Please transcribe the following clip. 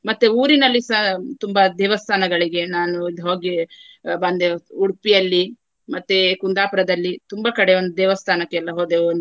ಮತ್ತೆ ಊರಿನಲ್ಲಿಸ ತುಂಬಾ ದೇವಸ್ಥಾನಗಳಿಗೆ ನಾನು ಇದು ಹೋಗಿ ಬಂದೆವು. ಉಡುಪಿಯಲ್ಲಿ ಮತ್ತೆ ಕುಂದಾಪುರದಲ್ಲಿ ತುಂಬಾ ಕಡೆ ಒಂದು ದೇವಸ್ಥಾನಕ್ಕೆ ಎಲ್ಲಾ ಹೋದೆವು.